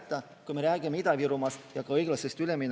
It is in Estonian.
Ja praegune valitsus ütles väga konkreetsed tähtajad: aasta 2035, aasta 2040.